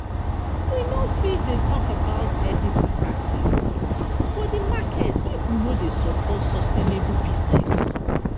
We not fit dey talk about ethical practice for di market if we no dey support sustainable business.